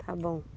Está bom.